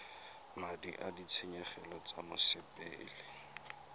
madi a ditshenyegelo tsa mosepele